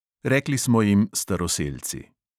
Rekli smo jim staroselci.